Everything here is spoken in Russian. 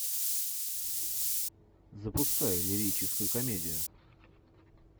запускай лирическую комедию